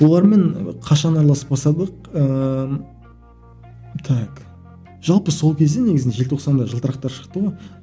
олармен қашан ыыы так жалпы сол кезде негізінде желтоқсанда жылтырақтар шықты ғой